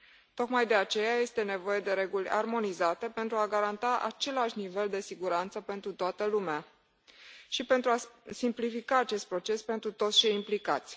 Tocmai de aceea este nevoie de reguli armonizate pentru a garanta același nivel de siguranță pentru toată lumea și pentru a simplifica acest proces pentru toți cei implicați.